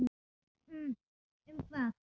Um hvað?